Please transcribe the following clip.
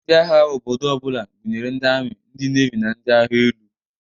Ndị agha obodo ọ bụla gụnyere ndị ami, ndị nevi na ndị agha elu.